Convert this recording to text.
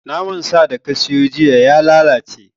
Naman sa da ka siyo jiya ya lalace